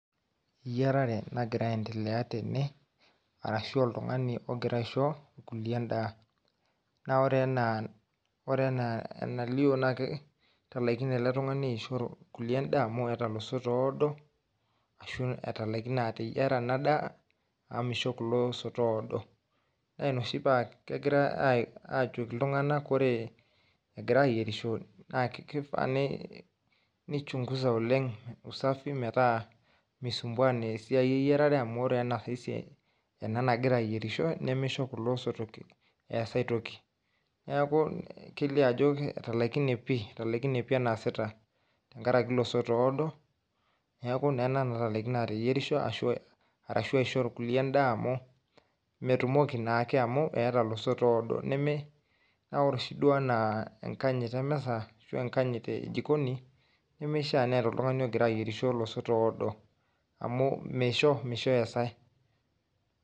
Yiarare nagira aendelea tene, arashu oltung'ani ogira aisho, irkulie endaa. Na ore enaa enalio na ketalaikine ele tung'ani aishoo kulie endaa amu eeta oloisotoo oodo, ashu etalaikine ateyiara ena daa, amu misho kulo oisoto oodo. Na ina oshi pa kegirai ajoki iltung'anak kore egira ayierisho, na kifaa ni chunguza oleng usafi, metaa misumbua nesiai eyiarare amu ore ena nagira ayierisho, nimisho kulo osotok eas aitoki. Neeku kelio ajo etalaikine pi, etalaikine pi enaasita tenkaraki ilosotoo oodo, neeku nena natalaikine ateyierisho, arashu aishoo irkulie endaa amu, metumoki naake amu eeta olosoto oodo. Neme, na ore oshi duo enaa enkanyit emisa, ashu enkanyit ejikoni, nimishaa neeta oltung'ani ogira ayierisho olosotoo oodo, amu meisho, misho ees ai.